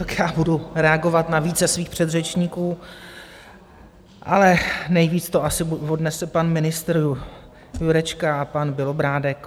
Tak já budu reagovat na více svých předřečníků, ale nejvíc to asi odnese pan ministr Jurečka a pan Bělobrádek.